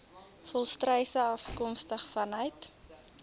volstruise afkomstig vanuit